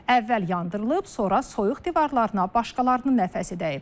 Əvvəl yandırılıb, sonra soyuq divarlarına başqalarının nəfəsi dəyib.